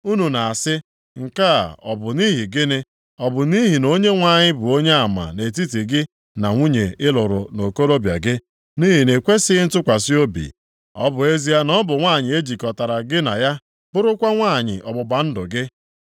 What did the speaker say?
Unu na-asị “Nke a ọ bụ nʼihi gịnị?” Ọ bụ nʼihi na Onyenwe anyị bụ onyeama nʼetiti gị na nwunye ị lụrụ nʼokorobịa gị, nʼihi na ị kwesighị ntụkwasị obi, ọ bụ ezie na ọ bụ nwanyị e jikọtara gị na ya, bụrụkwa nwunye ọgbụgba ndụ gị.